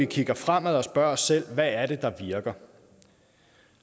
kigger fremad og spørger os selv hvad er det der virker